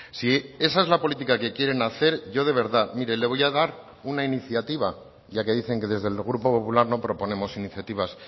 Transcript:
si esa es la política que quieren hacer yo de verdad mire le voy a dar una iniciativa ya que dicen que desde el grupo popular no proponemos iniciativas